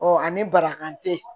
ani barakan tɛ